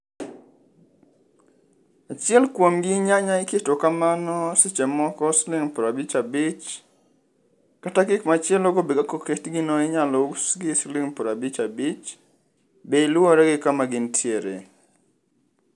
Achiel kuomgi nyanya iketo kamano seche moko siling' prabich abich, kata gik machielogo be kaka oketgino inyalousgi siling prabich abich. Bei luwore gi kama gintiere.